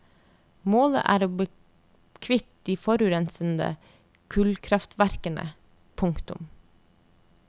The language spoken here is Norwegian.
Målet er å bli kvitt de forurensende kullkraftverkene. punktum